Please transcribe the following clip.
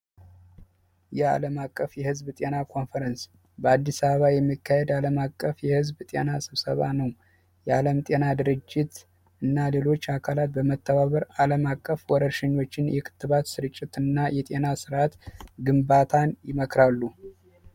የአለም አቀፍ የህዝብ ጤና ኮንፈረንስ በአዲስ አበባ የሚካሄድ ዓለም አቀፍ የህዝብ ጤና ስብሰባ ነው የአለም ጤና ድርጅት እና ሌሎች አካላት በመተባበር አለማቀፍ ወረኞችን የክትባት ስርጭት እና የጤና ርዓት ግንባታን ይመክራሉ